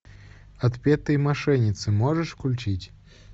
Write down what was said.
отпетые мошенницы можешь включить